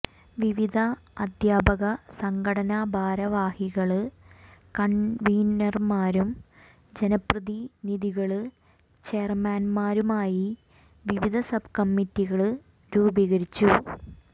വിവിധ അധ്യാപക സംഘടനാ ഭാരവാഹികള് കണ്വീനര്മാരും ജനപ്രതിനിധികള് ചെയര്മാന്മാരുമായി വിവിധ സബ് കമ്മറ്റികള് രൂപീകരിച്ചു